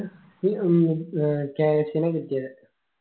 ന്ത് ഏർ cash ന കിട്ടിയേ